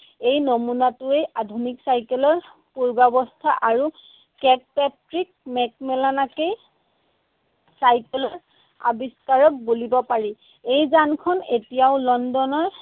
এই নমুনাটোৱেই আধুনিক চাইকেলৰ পুৰ্বাৱস্থা আৰু মেকমিলানকে চাইকেলৰ আৱিষ্কাৰক বুলিব পাৰি। এই যানখন এতিয়াও লণ্ডনৰ